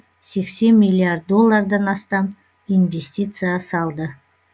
сексен миллиард доллардан астам инвестиция салды